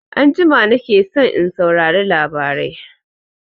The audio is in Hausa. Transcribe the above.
Anjima na ke son in saurari labarai